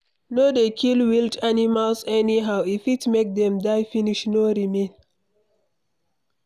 No dey kill wild animals anyhow, e fit make them die finish no remain